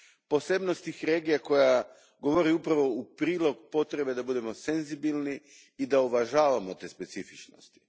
Posebnost tih regija koja govori upravo u prilog potrebe da budemo senzibilni i da uvažavamo te specifičnosti.